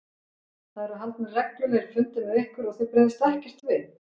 Það eru haldnir reglulegir fundir með ykkur og þið bregðist ekkert við?